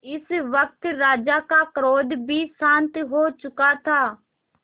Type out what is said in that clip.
इस वक्त राजा का क्रोध भी शांत हो चुका था